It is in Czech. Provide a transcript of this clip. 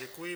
Děkuji.